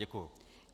Děkuji.